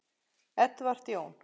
Edward Jón.